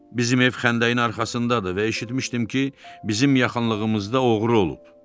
Bizim ev xəndəyin arxasındadır və eşitmişdim ki, bizim yaxınlığımızda oğru olub.